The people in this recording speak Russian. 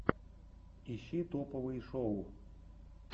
ищи топовые шоу